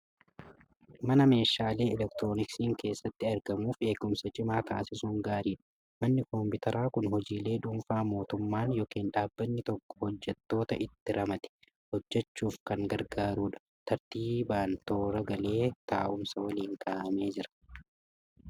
Mana meeshaalee elektirooniksiin keessatti argamuuf eegumsa cimaa taasisuun gaariidha. Manni kompiitaraa kun hojiilee dhuunfaa mootummaan yookiin dhaabbatni tokko hojjettoota itti ramade hejjechuuf kan gargaarudha. Tartiibaan toora galee taa'umsa waliin kaa'amee jira.